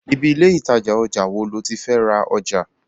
Ibi ilé ìtajà ojà wo lo ti fé ra ojà?